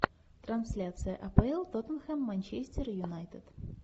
трансляция апл тоттенхэм манчестер юнайтед